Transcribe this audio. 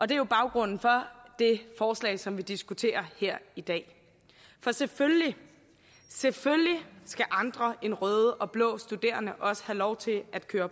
det er baggrunden for det forslag som vi diskuterer her i dag for selvfølgelig skal andre end røde og blå studerende have lov til at køre